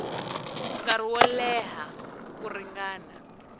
nkarhi wo leha ku ringana